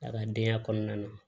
A ka denya kɔnɔna na